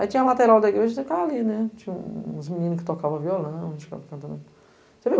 Aí tinha a lateral da igreja, você ficava ali né, tinha uns meninos que tocavam violão, a gente ficava cantando.